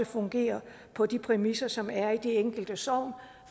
fungerer på de præmisser som der er i de enkelte sogne